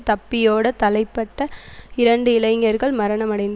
தப்பியோடத் தலைப்பட்ட இரண்டு இளைஞர்கள் மரணமடைந்த